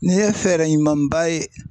Nin ye fɛɛrɛ ɲumanba ye.